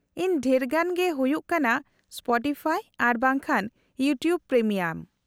-ᱤᱧ ᱰᱷᱮᱨᱜᱟᱱ ᱜᱮ ᱦᱩᱭᱩᱜ ᱠᱟᱱᱟ ᱥᱯᱚᱴᱤᱯᱷᱟᱭ ᱟᱨ ᱵᱟᱝ ᱠᱷᱟᱱ ᱤᱭᱩᱴᱩᱵ ᱯᱨᱤᱢᱤᱭᱟᱢ ᱾